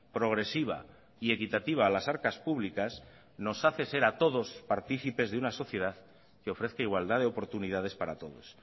progresiva y equitativa a las arcas públicas nos hace ser a todos partícipes de una sociedad que ofrezca igualdad de oportunidades para todos